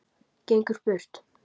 Gengur burt.